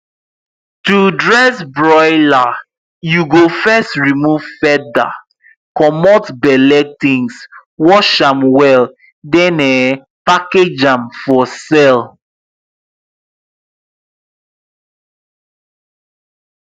to dress broiler you go first remove feather comot belle things wash am well then um package am for sale